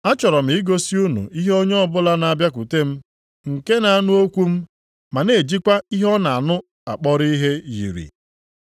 Achọrọ m igosi unu ihe onye ọbụla na-abịakwute m nke na-anụ okwu m, ma na-ejikwa ihe ọ na-anụ akpọrọ ihe, yiri.